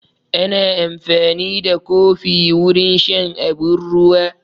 Ana amfani da kofi wurin shan abun ruwa